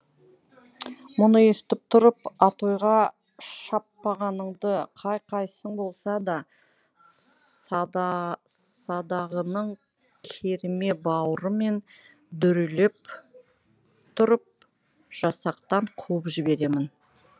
мұны естіп тұрып атойға шаппағаныңды қай қайсың болса да садағының керме бауырымен дүрелеп тұрып жасақтан қуып жіберемін